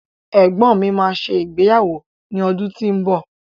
Egbọ́n mi máa ṣe ìgbéyàwó ní ọdún tí ó ń bọ̀